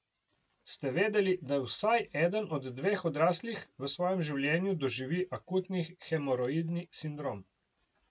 Ste vedeli, da vsaj eden od dveh odraslih v svojem življenju doživi akutni hemoroidni sindrom?